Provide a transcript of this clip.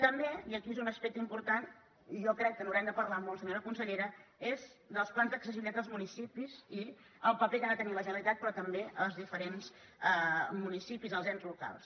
també i aquí és un aspecte important i jo crec que n’haurem de parlar molt senyora consellera els plans d’accessibilitat als municipis i el paper que ha de tenir la generalitat però també els diferents municipis els ens locals